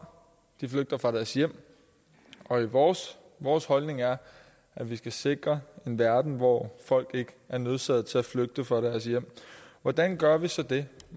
de flygter fra deres hjem og vores vores holdning er at vi skal sikre en verden hvor folk ikke er nødsaget til at flygte fra deres hjem hvordan gør vi så det